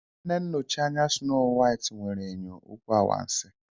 Nne nnochi anya Snow White nwere enyo okwu anwansi.